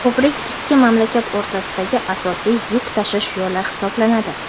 Ko‘prik ikki mamlakat o‘rtasidagi asosiy yuk tashish yo‘li hisoblanadi.